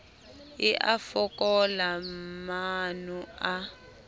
e a fokola maano a